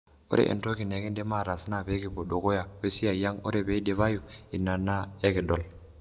Ore entoki nikindim atas naa pekipwo dukuya wesiai ang ore pidipayu ina na ikidol.